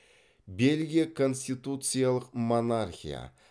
бельгия конституциялық монархия